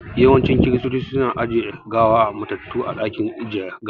Yawancin Kiristoci su na ajiye gawar matattu a dakin ajiyar gawa